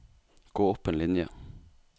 Gå opp en linje